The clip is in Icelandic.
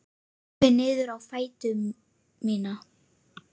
Horfi niður á fætur mína.